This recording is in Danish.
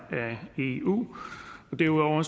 eu derudover